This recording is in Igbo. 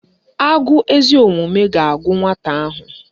Agụụ ezi omume ga-agụ nwata ahụ